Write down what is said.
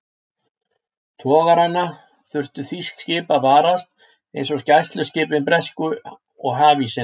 Togarana þurftu þýsk skip að varast, eins og gæsluskipin bresku og hafísinn.